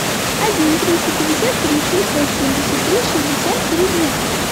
один триста пятьдесят три семьсот семьдесят три шестьдесят три двенадцать